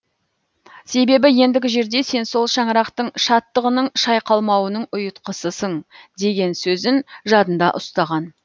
себебі ендігі жерде сен сол шаңырақтың шаттығының шайқалмауының ұйытқысысың деген сөзін жадында ұстаған